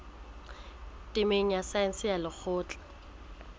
temeng ya saense ya lekgotleng